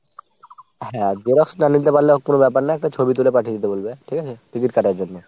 হ্যাঁ xerox না নিতে পারলে কোনো ব্যাপার না একটা ছবি তুলে পাঠিয়ে দিতে বলবে ঠিক আছে ticket কাটার জন্য।